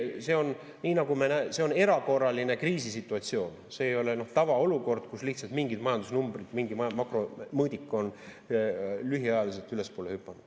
See on erakorraline kriisisituatsioon, see ei ole tavaolukord, kus lihtsalt mingid majandusnumbrid, mingi makromõõdik on lühiajaliselt ülespoole hüpanud.